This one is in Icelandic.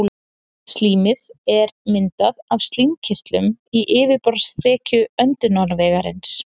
slímið er myndað af slímkirtlum í yfirborðsþekju öndunarvegarins